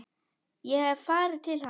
Ég hef farið til hans.